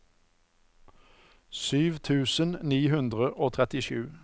sju tusen ni hundre og trettisju